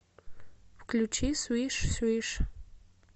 включи свиш свиш